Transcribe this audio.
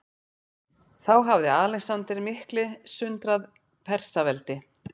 Þá hafði Alexander mikli sundrað Persaveldi.